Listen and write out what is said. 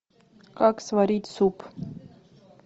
как сварить суп